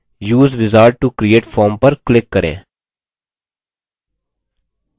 और फिर use wizard to create form पर click करिये